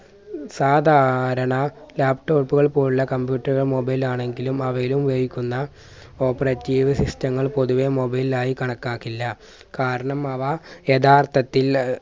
സാധാരണ laptop കൾ പോലുള്ള computer ഒ mobile ആണെങ്കിലും അവയിൽ ഉപയോഗിക്കുന്ന operative system ങ്ങൾ പൊതുവെ mobile ലായി കണക്കാക്കില്ല. കാരണം അവ യഥാർത്ഥത്തിൽ അഹ്